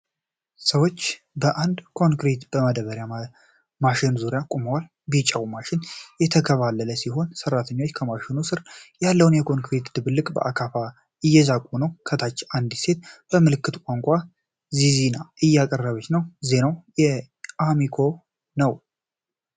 ሰዎች በአንድ ኮንክሪት ማደባለቂያ ማሽን ዙሪያ ቆመዋል። ቢጫው ማሽን የተንከባለለ ሲሆን፣ ሰራተኞች ከማሽኑ ስር ያለውን የኮንክሪት ድብልቅ በአካፋ እየዛቁ ነው። ከታች አንዲት ሴት በምልክት ቋንቋ ዚዜና እያቀረበች ነው። ዜናው የአሚኮ ነው።